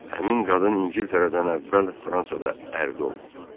Həmin qadın İngiltərədən əvvəl Fransada ərdə olub.